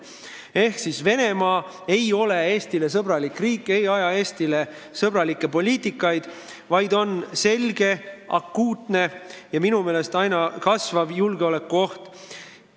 Ehk Venemaa ei ole Eesti jaoks sõbralik riik, ei aja Eesti seisukohalt sõbralikku poliitikat, vaid on selge, akuutne ja minu meelest aina kasvav julgeolekuoht.